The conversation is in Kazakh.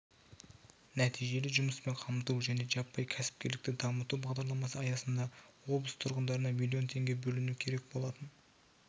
нәтижелі жұмыспен қамту және жаппай кәсіпкерлікті дамыту бағдарламасы аясында облыс тұрғындарына миллион теңге бөлінуі керек болатын